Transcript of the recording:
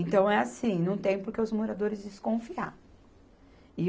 Então, é assim, não tem porque os moradores desconfiar.